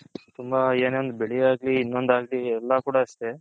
ತುಂಬಾ ಏನೆ ಒಂದು ಬೆಳೆ ಆಗ್ಲಿ ಇನೊಂದು ಆಗ್ಲಿ ಎಲ್ಲಾ ಕೂಡ ಅಷ್ಟೆ